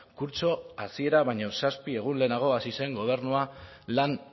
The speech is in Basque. kurtso hasiera baino zazpi egun lehenago hasi zen gobernua lan